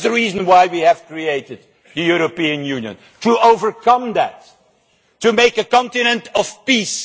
And that is the reason why we created the European Union to overcome that, to make a continent of peace.